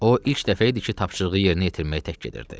O ilk dəfə idi ki, tapşırığı yerinə yetirməyi tək gedirdi.